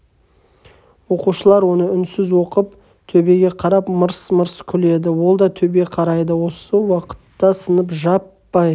оқушылар оны үнсіз оқып төбеге қарап мырс-мырс күледі ол да төбе қарайды осы уақытта сынып жаппай